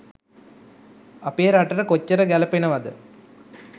අපේ රටට කොච්චර ගැලපෙනවද